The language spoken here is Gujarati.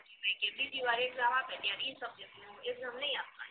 બીજી વાર exam આપે ત્યારે ઇ subject ની exam નઇ આપવાની